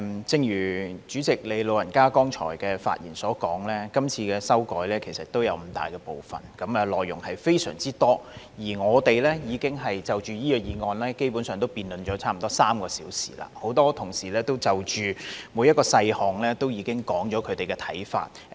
正如代理主席剛才的發言所說，今次的修改有五大部分，內容非常多，而我們已經就這項議案，辯論了差不多3小時，很多同事已就每一個細項說出他們的看法。